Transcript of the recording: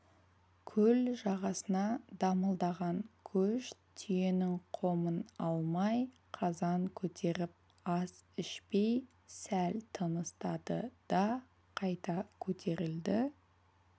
көл жағасына дамылдаған көш түйенің қомын алмай қазан көтеріп ас ішпей сәл тыныстады да қайта көтерілді